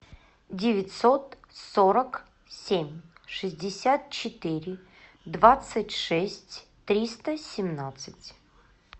девятьсот сорок семь шестьдесят четыре двадцать шесть триста семнадцать